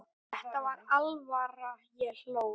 Þetta var alvara, ég hló.